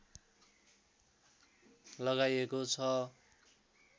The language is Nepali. लगाइएको छ